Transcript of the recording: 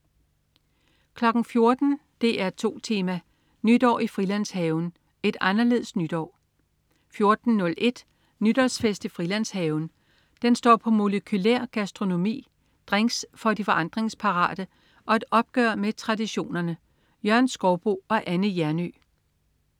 14.00 DR2 Tema: Nytår i Frilandshaven. Et anderledes nytår 14.01 Nytårsfest i Frilandshaven. Den står på molekylær gastronomi, drinks for de forandringsparate og et opgør med traditionerne. Jørgen Skouboe og Anne Hjernøe